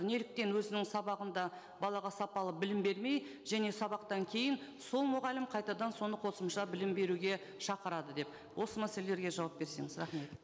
неліктен өзінің сабағында балаға сапалы білім бермей және сабақтан кейін сол мұғалім қайтадан соны қосымша білім беруге шақырады деп осы мәселелерге жауап берсеңіз рахмет